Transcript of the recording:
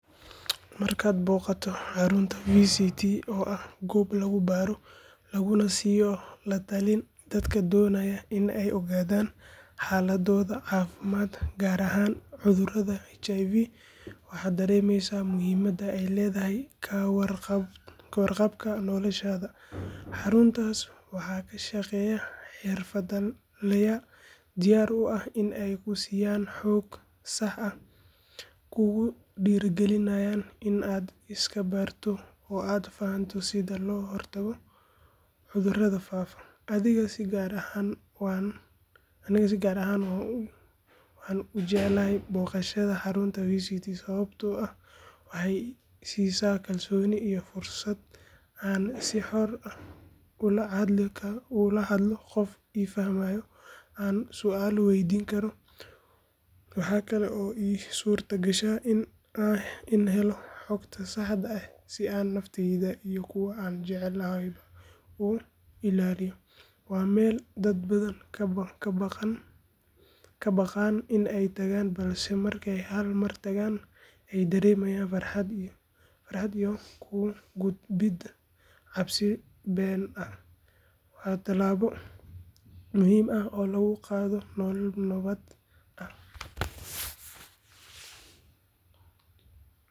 Markaad booqato xarunta VCT oo ah goob lagu baaro laguna siiyo la talin dadka doonaya in ay ogaadaan xaaladdooda caafimaad gaar ahaan cudurka HIV waxaad dareemaysaa muhiimadda ay leedahay ka warqabka noloshaada. Xaruntaas waxaa ka shaqeeya xirfadlayaal diyaar u ah in ay ku siiyaan xog sax ah, kugu dhiirrigeliyaan inaad iska baarto oo aad fahanto sida loo hortago cudurrada faafa. Aniga si gaar ah waan u jeclahay booqashada xarumaha VCT sababtoo ah waxay i siisaa kalsooni iyo fursad aan si xor ah ula hadlo qof i fahmayo oo aan su’aalo weydiin karo. Waxa kale oo ii suurtagasha inaan helo xogta saxda ah si aan naftayda iyo kuwa aan jecelahayba u ilaaliyo. Waa meel dad badan ka baqaan in ay tagaan balse markay hal mar tagaan ay dareemaan farxad iyo ka gudbidda cabsi been ah. Waa tallaabo muhiim ah oo lagu gaadho nolol nabad ah.